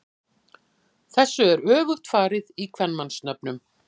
Þessu er öfugt farið í kvenmannsnöfnum.